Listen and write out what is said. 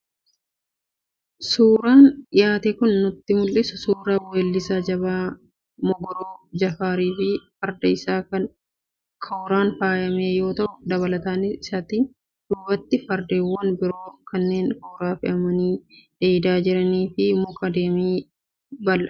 Suuraan dhiyaate kan nutti mul'isu, suuraa Weellisaa jabaa Mogoroo Jifaarii fi Farda isaa kan kooraan faayame yoo ta'u, dabalataanis isaatiin duubatti faradoowwan biroo kanneen kooraa fe'amanii dheedaa jiraniifi muka damee qabu kan magariisa ta'etu argama.